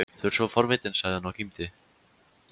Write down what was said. Þú ert svo forvitinn sagði hann og kímdi.